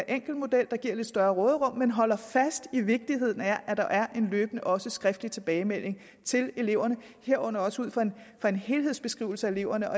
enkel model der giver lidt større råderum men holder fast i vigtigheden af at der er en løbende også skriftlig tilbagemelding til eleverne herunder også ud fra en helhedsbeskrivelse af eleverne